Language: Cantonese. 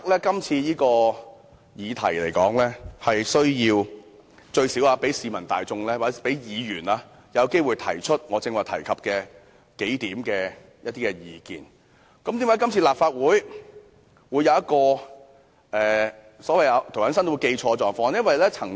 今次這項"察悉議案"最少讓市民大眾和議員有機會提出我剛才提出的數點意見，為何這次立法會竟然出現連涂謹申議員也有誤解的情況？